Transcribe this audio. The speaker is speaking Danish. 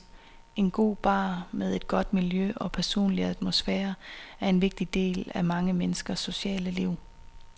En god bar med et godt miljø og personlig atmosfære er en vigtig del af mange menneskers sociale liv.